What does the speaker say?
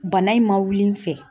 Bana in ma wuli in fɛ.